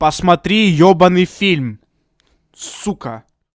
посмотри ебанный фильм сука